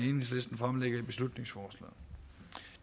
enhedslisten fremlægger i beslutningsforslaget